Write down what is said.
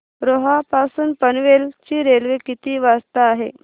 रोहा पासून पनवेल ची रेल्वे किती वाजता आहे